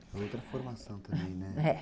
Outra formação também, né?